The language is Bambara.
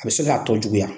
A bɛ se k'a tɔ juguya